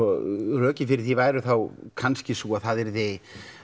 rökin fyrir því væru þá kannski sú að það yrði